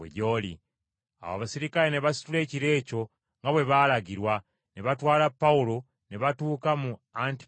Awo abaserikale ne basitula ekiro ekyo, nga bwe baalagirwa, ne batwala Pawulo ne batuuka mu Antipatuli.